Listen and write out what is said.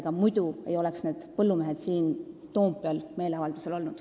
Ega muidu ei oleks põllumehed siin Toompeal meeleavaldusel olnud.